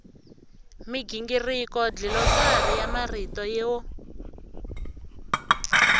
migingiriko dlilosari ya marito yo